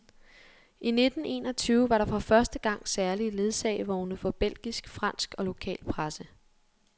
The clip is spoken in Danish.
I nitten enogtyve var der for første gang særlige ledsagevogne for belgisk, fransk og lokal presse.